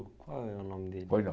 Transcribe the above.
Qual é o nome dele? Pois não